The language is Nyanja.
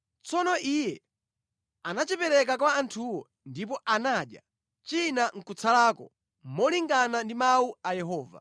Tsono iye anachipereka kwa anthuwo ndipo anadya china nʼkutsalako, molingana ndi mawu a Yehova.